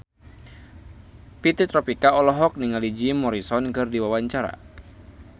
Fitri Tropika olohok ningali Jim Morrison keur diwawancara